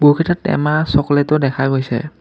বহুকেইটা টেমা চকলেতো দেখা গৈছে।